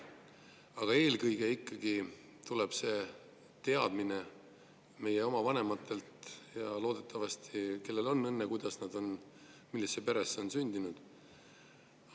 Aga eelkõige tuleb see teadmine meie enda vanematelt – kellel kuidas on õnne, kes millisesse peresse on sündinud.